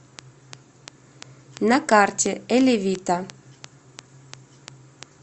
на карте элевита